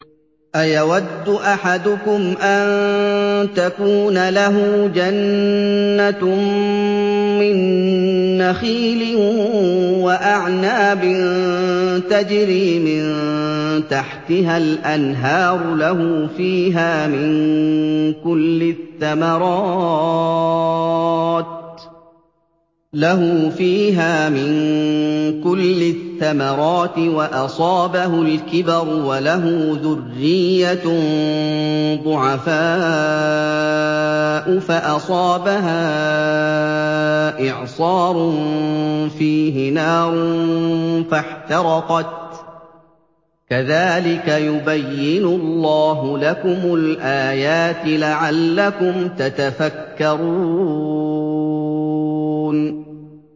أَيَوَدُّ أَحَدُكُمْ أَن تَكُونَ لَهُ جَنَّةٌ مِّن نَّخِيلٍ وَأَعْنَابٍ تَجْرِي مِن تَحْتِهَا الْأَنْهَارُ لَهُ فِيهَا مِن كُلِّ الثَّمَرَاتِ وَأَصَابَهُ الْكِبَرُ وَلَهُ ذُرِّيَّةٌ ضُعَفَاءُ فَأَصَابَهَا إِعْصَارٌ فِيهِ نَارٌ فَاحْتَرَقَتْ ۗ كَذَٰلِكَ يُبَيِّنُ اللَّهُ لَكُمُ الْآيَاتِ لَعَلَّكُمْ تَتَفَكَّرُونَ